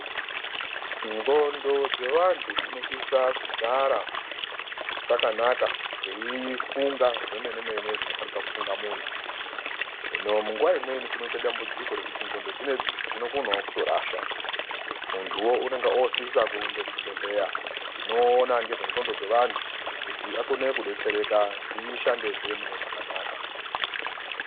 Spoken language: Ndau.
Ndxondo dzevantu dzinosisa kugara dzakanaka dzeifunga zvemene-mene zvinofanika kufunga muntu. Hino munguva imweni kunoite dambudziko rekuti ndxondo dzinoidzi dzinokonawo kutorasha. Muntuwo unonga osisa kurumba kuchibhedhlera chinoona nezve ndxondo dzevantu kuti akone kudetsereka kuti dzishandezve munezvakanaka.